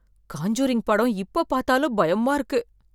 Conjuring படம் இப்ப பார்த்தாலும் பயமா இருக்கு